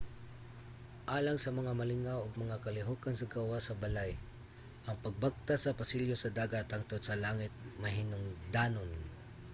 alang sa mga malingaw og mga kalihokan sa gawas sa balay ang pagbaktas sa pasilyo sa dagat hangtod sa langit mahinungdanon